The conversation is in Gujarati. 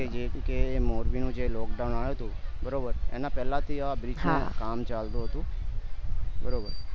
જેવું કે મોરબી નું જે lockdown આયુ હતું બરોબર એના પેલાથી એ bridge નું કામ ચાલતું હતું બરોબર